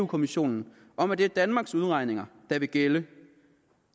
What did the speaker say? kommissionen om at det er danmarks udregninger der vil gælde